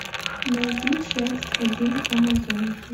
найди часть один амазонки